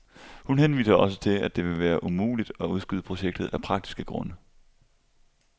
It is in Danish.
Hun henviser også til, at det vil være umuligt at udskyde projektet af praktiske grunde.